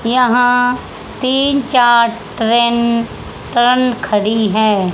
यहां तीन चार ट्रेन ट्रन खड़ी है।